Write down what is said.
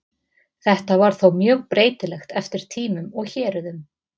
Þetta var þó mjög breytilegt eftir tímum og héruðum.